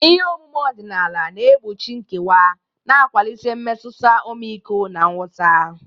Ihe omume odinala na egbochu nkewa, na-akwalite mmetụta ọmịiko na nghọta.